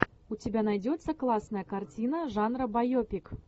у тебя найдется классная картина жанра байопик